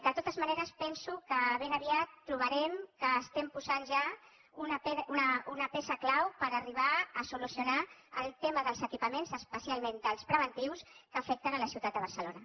de totes maneres penso que ben aviat trobarem que estem posant ja una peça clau per arribar a solucionar el tema dels equipaments especialment dels preventius que afecten la ciutat de barcelona